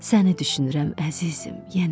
Səni düşünürəm, əzizim, yenə.